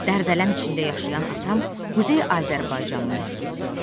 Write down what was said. Dərdələm içində yaşayan atam Quzey Azərbaycana üz tutdu.